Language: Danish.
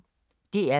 DR P1